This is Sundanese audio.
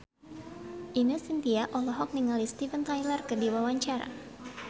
Ine Shintya olohok ningali Steven Tyler keur diwawancara